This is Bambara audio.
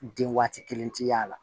Den waati kelen tɛ y'a la